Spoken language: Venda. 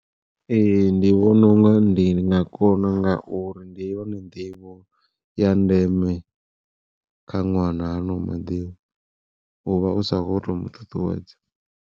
Ee ndi vhona unga ndi nga kona ngauri ndi yone nḓivho ya ndeme kha ṅwana hano maḓuvha uvha u sa kho to muṱuṱuwedza.